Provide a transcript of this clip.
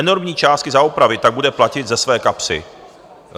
Enormní částky za opravy tak bude platit ze své kapsy.